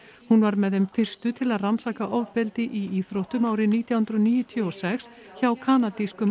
hún var með þeim fyrstu til að rannsaka ofbeldi í íþróttum árið nítján hundruð níutíu og sex hjá kanadískum